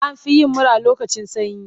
An fi yin mura lokacin sanyi.